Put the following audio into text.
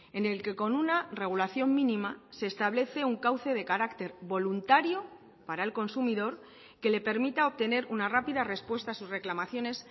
en el que con una regulación mínima se establece un cauce de carácter voluntario para el consumidor que le permita obtener una rápida respuesta a sus reclamaciones